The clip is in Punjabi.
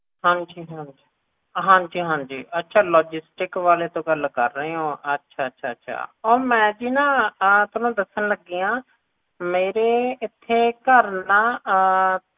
ਹਾਂਜੀ ਹਾਂਜੀ ਹਾਂਜੀ ਹਾਂਜੀ ਅੱਛਾ logistic ਵਾਲੇ ਤੋਂ ਗੱਲ ਕਰ ਰਹੇ ਹੋ ਅੱਛਾ ਅੱਛਾ ਮੈਂ ਜੀ ਤੁਹਾਨੂੰ ਜੀ ਆਪ ਨਾ ਦੱਸਣ ਲੱਗੀ ਆ ਮੇਰੇ ਇਥੇ ਘਰ ਨਾ